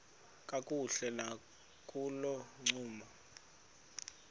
kakuhle nakolo ncumo